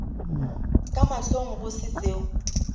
ka mahlong go se seo